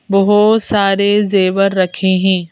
बहुत सारे जेवर रखे हैं।